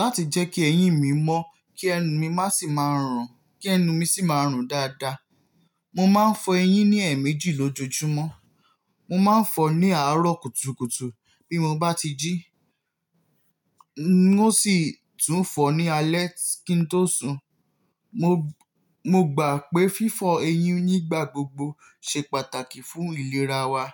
Láti jẹ́ kí eyín mi mọ́, kí ẹnu mi má sì máa ń rùn, kí ẹnu mi sì máa ń rùn dáadáa, mo máa ń fọ eyín ní ẹ̀ẹ̀mejì lójoojúmọ́. Mo máa ń fọ ní àárọ̀ kùtùkùtù bí mo bá ti jí, ó sì tún fọ ní alẹ́ kí n tó sùn. Mo, mo gbà pé fífọ eyín nígbà gbogbo ṣe pàtàkì fún ìlera wa.